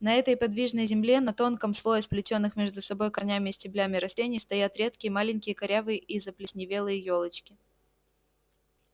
на этой подвижной земле на тонком слое сплетённых между собой корнями и стеблями растений стоят редкие маленькие корявые и заплесневелые ёлочки